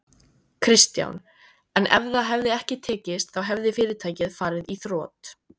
Kristján: En ef það hefði ekki tekist þá hefði fyrirtækið farið í þrot?